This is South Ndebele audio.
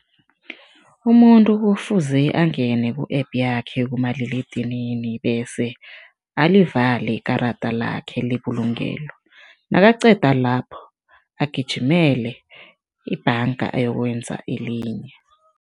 Umuntu kufuze angene ku-app yakhe kumaliledinini bese alivalile ikarada lakhe lebulungelo, nakaqeda lapho, agijimele ebhanga ayokwenza elinye.